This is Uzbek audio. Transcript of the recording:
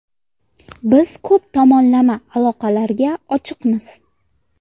Biz ko‘p tomonlama aloqalarga ochiqmiz.